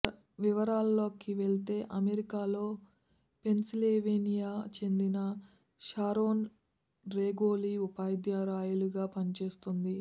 వివరాల్లోకి వెళితే అమెరికాలో పెన్సిల్వేనియాకు చెందిన షారోన్ రెగోలి ఉపాధ్యాయురాలిగా పనిచేస్తోంది